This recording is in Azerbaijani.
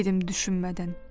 Dedim düşünmədən.